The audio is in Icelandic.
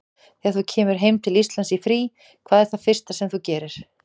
Þegar þú kemur heim til Íslands í frí, hvað er það fyrsta sem þú gerir?